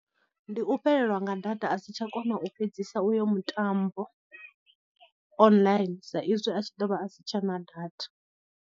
Ndi u fhelelwa nga data a si tsha kona u fhedzisa uyo mutambo online sa izwi a tshi ḓo vha a si tshena data.